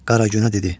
Qaragünə dedi: